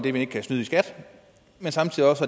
at man ikke kan snyde i skat men samtidig også